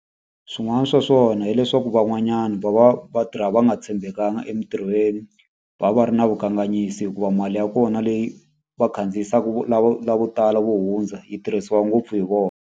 Swin'wana swa swona hileswaku van'wanyana va va va tirha va nga tshembekanga emintirhweni. Va va va ri na vukanganyisi hikuva mali ya kona leyi va khandziyisaka lavo lavo tala vo hundza, yi tirhisiwa ngopfu hi vona.